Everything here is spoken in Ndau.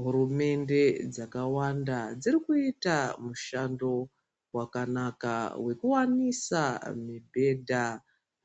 Hurumende dzakawanda dziri kuita mushando wakanaka wekuwanisa mibhedha,